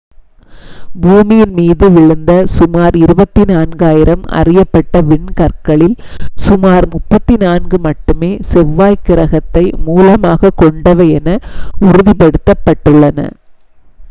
பூமியின் மீது விழுந்த சுமார் 24,000 அறியப்பட்ட விண்கற்களில் சுமார் 34 மட்டுமே செவ்வாய் கிரகத்தை மூலமாகக் கொண்டவை என உறுதிப்படுத்தப்பட்டுள்ளன